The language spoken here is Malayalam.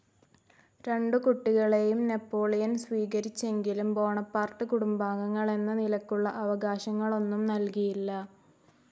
രണ്ടു കുട്ടികളേയും നാപ്പോളിയൻ സ്വീകരിച്ചെങ്കിലും ബോണപാർട്ട് കുടുംബാംഗങ്ങളെന്ന നിലക്കുള്ള അവകാശങ്ങളൊന്നും നല്കിയില്ല.